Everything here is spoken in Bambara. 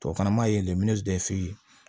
Tubabukan na maa ye